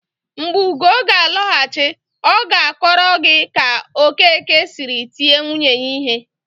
Mgbe Ugo ga-alọghachi, ọ ga-akọrọ gị ka Okeke siri tie nwunye ya ihe.